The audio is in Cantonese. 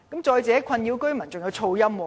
再者，困擾居民的還有噪音。